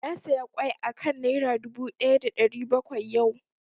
Na saya ƙwai a kan Naira dubu ɗaya da ɗari bakwai yau